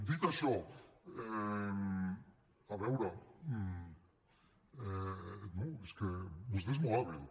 dit això a veure no és que vostè és molt hàbil